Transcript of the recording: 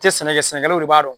Te sɛnɛ kɛ sɛnɛkɛlaw de b'a dɔn